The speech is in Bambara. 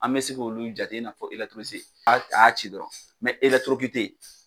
An bɛ se k,olu jate i n'a fɔ a a y'a ci dɔrɔn mɛ